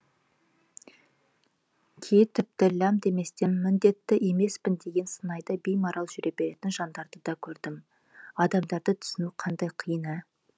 кейі тіпті лям деместен міндетті емеспін деген сыңайда беймарал жүре беретін жандарды да көрдім адамдарды түсіну қандай қиын ә